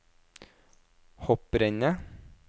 hopprennet